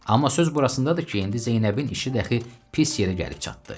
Amma söz burasındadır ki, indi Zeynəbin işi dəxi pis yerə gəlib çatdı.